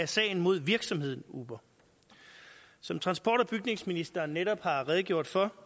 sagen mod virksomheden uber som transport og bygningsministeren netop har redegjort for